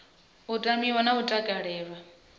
u tamiwa na u takalelwa